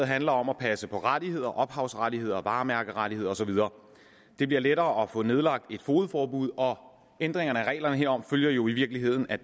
handler om at passe på rettigheder ophavsrettigheder og varemærkerettigheder og så videre det bliver lettere at få nedlagt et fogedforbud og ændringerne af reglerne herom følger jo i virkeligheden af